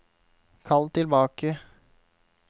kall tilbake